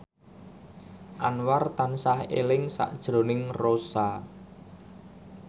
Anwar tansah eling sakjroning Rossa